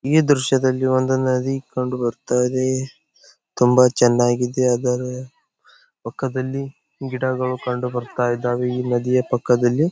ಈ ದೃಶ್ಯದಲ್ಲಿ ಒಂದು ನದಿ ಕಂಡು ಬರತ್ತಾ ಇದೆ ತುಂಬಾ ಚನ್ನಾಗಿದೆ ಅದರ ಪಕ್ಕದಲ್ಲಿ ಗಿಡಗಳು ಕಂಡು ಬರತ್ತಾ ಇದ್ದಾವೆ ಈ ನದಿಯ ಪಕ್ಕದಲ್ಲಿ .